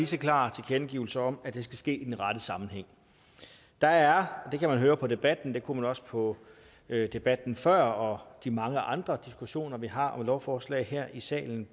så klar tilkendegivelse om at det skal ske i den rette sammenhæng der er og det kan man høre på debatten det kunne man også på debatten før og de mange andre diskussioner vi har om lovforslag her i salen